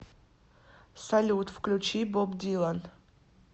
салют включи боб дилан